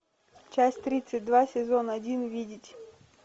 часть тридцать два сезон один видеть